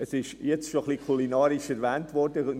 Es wurde schon ein wenig kulinarisch gesprochen;